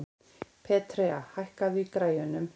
Petrea, hækkaðu í græjunum.